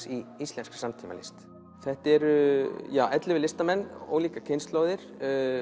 í íslenskri samtímalist þetta eru ellefu listamenn ólíkar kynslóðir